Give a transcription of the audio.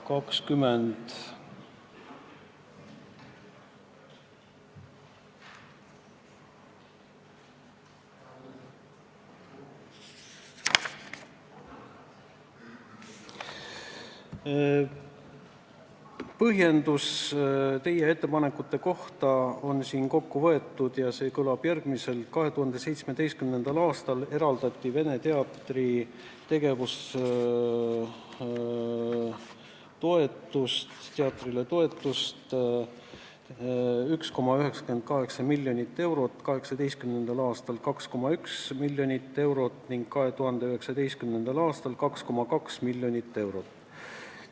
Otsus teie ettepanekute kohta on siin kokku võetud ja see kõlab järgmiselt: 2017. aastal eraldati Vene Teatrile tegevustoetust 1,98 miljonit eurot, 2018. aastal 2,1 miljonit eurot ning 2019. aastal 2,2 miljonit eurot.